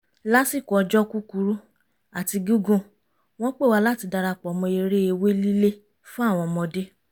lásìkò ọjọ́ kúkurú àti gígùn wọ́n pè wá láti darapọ̀ mọ́ eré ewé lílé fún àwọn ọmọdé